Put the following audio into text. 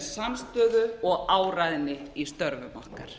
samstöðu og áræðni í störfum okkar